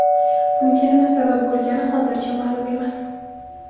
Bunga nima sabab bo‘lgani hozircha ma’lum emas.